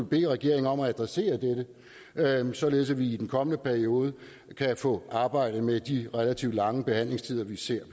bede regeringen om at adressere dette således at vi i den kommende periode kan få arbejdet med de relativt lange behandlingstider vi ser